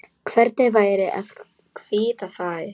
Hvernig væri að hvítta þær?